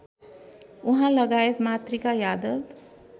उहाँलगायत Matrika Yadav